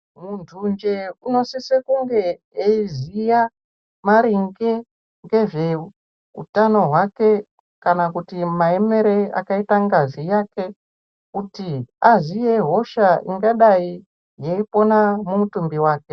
Muntu njee unosise kunge eiziya maringe ngezveutano wake kana kuti maemere akaita ngazi yake kuti aziye hosha ingadai yeipona mumutumbi wake.